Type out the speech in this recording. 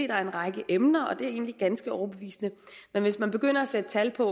der er en række emner og det er egentlig ganske overbevisende men hvis man begynder at sætte tal på